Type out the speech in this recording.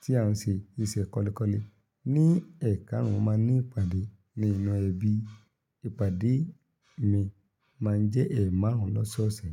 tí a ń ṣe, niṣẹ́ kọ́lékọ́lé. Ní ẹ́kàárún, mo máa ní ìpàdé ní inú ẹbí. Ìpàdé mi máa ń jẹ́ ẹ̀ẹ̀marùn lọ́sọ̀ọ̀sẹ̀.